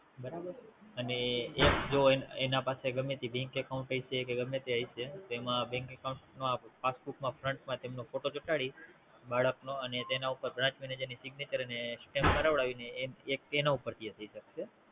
બરાબર અને એજ જો તેના પાસે ગમે તે Bank account હશે કે ગમે તે હશે તો એમ Bank account માં Passbook માં Front માં તેનો ફોટો ચોંટાડી બાળક નો અને તેના ઉપર Branch manager ની Signature અને Stamp કરવાડાવી ને એક તેના ઉપર થી એ થઈ શકશે